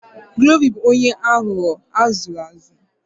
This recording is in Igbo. Glory bu onye aghugho azuru azu